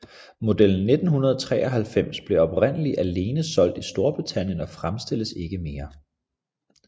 Model 1993 blev oprindeligt alene solgt i Storbritannien og fremstilles ikke mere